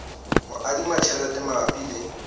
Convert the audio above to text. ho adima tjhelete mabapi le